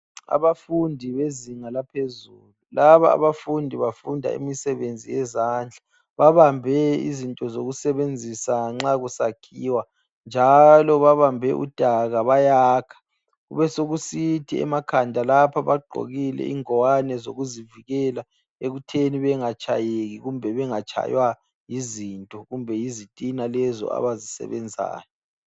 Abafundi bezinga laphezulu. Laba abafundi bafunda imisebenzi yezandla. Babambe izinto zokusebenzisa nxa kusakhiwa njalo babambe udaka bayakha. Kubesekusith emakhanda lapha bagqokile ingwane zokuzivikela ekutheni bengatshayeki kumbe bengatshaywa yizinto kumbe yizitina lezo abazisebenzayo.